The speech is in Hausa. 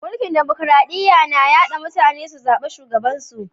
Mulki'n dimokuradiyya na yarda mutane su zaba shugaban su.